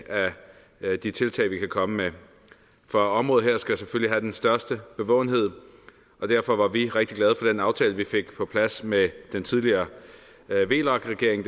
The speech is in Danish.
af de tiltag vi kan komme med for området her skal selvfølgelig have den største bevågenhed derfor var vi rigtig glade for den aftale vi fik på plads med den tidligere vlak regering